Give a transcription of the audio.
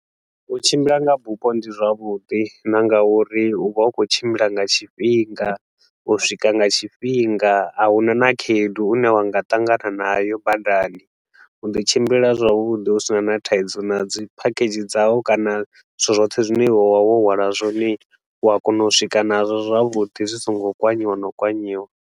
U tshimbila nga bufho ndi zwavhuḓi na nga uri u vha u khou tshimbila nga tshifhinga, u swika nga tshifhinga. A huna na khaedu u ne wa nga ṱangana nayo badani, u ḓi tshimbilela zwavhuḓi hu si na na thaidzo. Na dzi phakhedzhi dzau kana zwithu zwoṱhe zwine iwe wa vha wo hwala zwone, u a kona u swika nazwo zwavhuḓi zwi so ngo kwanyiwa na u kwanyiwa.